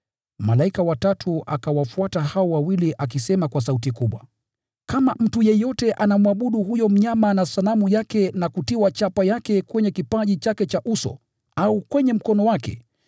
Malaika wa tatu akawafuata hao wawili akisema kwa sauti kubwa, “Kama mtu yeyote anamwabudu huyo mnyama na sanamu yake na kutiwa chapa yake kwenye kipaji chake cha uso au kwenye mkono wake,